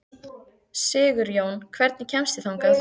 Sigurjón, hvernig kemst ég þangað?